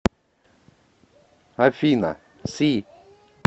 афина си